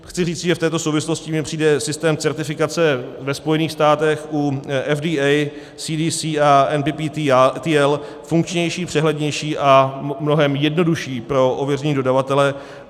Chci říci, že v této souvislosti mně přijde systém certifikace ve Spojených státech u FDA, CDC a NPPTL funkčnější, přehlednější a mnohem jednodušší pro ověření dodavatele.